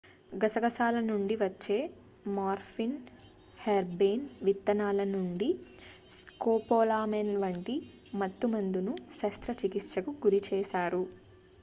గసగసాల నుంచి వచ్చే మార్ఫిన్ హెర్బేన్ విత్తనాల నుంచి స్కోపోలామైన్ వంటి మత్తు మందును శస్త్ర చికిత్సకు గురిచేశారు